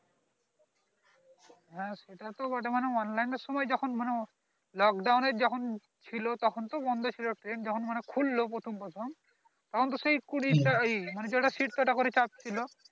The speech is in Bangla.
হ্যাঁ সেটা তো বটে অন্লাইনের সময় যখন lockdown যখন ছিলো তখন তো বন্ধ ছিল train যখন মানে খুলল প্রথম প্রথম তখন তো সেই কুড়ি টা এই মানে যটা seat তোয়টা করে ই চাপছিল